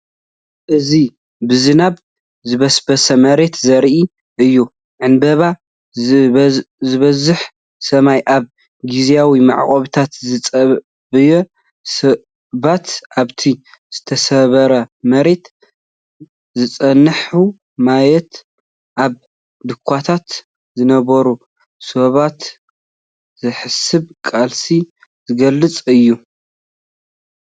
እዚ ብዝናብ ዝበስበሰ መሬት ዘርኢ እዩ። ዕንበባ ዝበዝሖ ሰማይ፡ ኣብ ግዝያዊ መዕቆቢታት ዝጽበዩ ሰባት። ኣብቲ ዝተሰብረ መሬት ዝጸንሐ ማያት፡ ኣብ ድኻታት ዝነብሩ ሰባት፡ ዘይሕሰብ ቃልሲ ዝገልፀ እዩ።